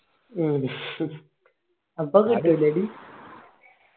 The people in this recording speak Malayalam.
മ്മ് അപ്പൊ